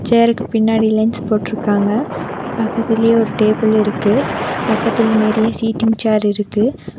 சேருக்கு பின்னாடி லென்ஸ் போட்ருக்காங்க பக்கத்துலயே ஒரு டேபிள் இருக்கு பக்கத்துல நெறய சீட்டிங் சேர் இருக்கு.